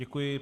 Děkuji.